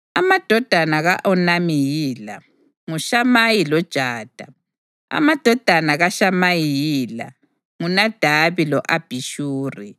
Amadodana ka-Onami yila: nguShamayi loJada. Amadodana kaShamayi yila: nguNadabi lo-Abhishuri.